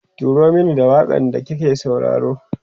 turo Mani da waƙan da kike sauraro